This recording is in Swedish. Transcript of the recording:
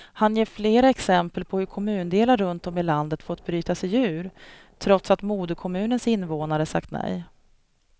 Han ger flera exempel på hur kommundelar runt om i landet fått bryta sig ur, trots att moderkommunens invånare sagt nej.